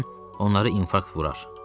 onları infarkt vurar.